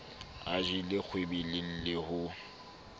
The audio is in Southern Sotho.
a jelle kgwebeleng le ho